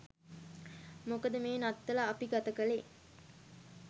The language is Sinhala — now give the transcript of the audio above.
මොකද මේ නත්තල අපි ගතකලේ